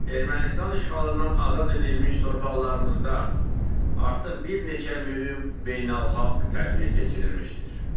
Ermənistan işğalından azad edilmiş torpaqlarımızda artıq bir neçə mühüm beynəlxalq tədbir keçirilmişdir.